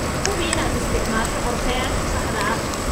Hubi inaad isticmaasho qorshayaasha saxda ah.